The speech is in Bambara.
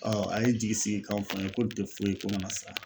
a ye n jigisigikanw fɔ n ye ko nin te foyi ko ŋana siran.